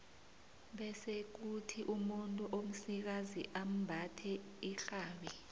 bese kuthi umuntu omsikazi ambathe irhabi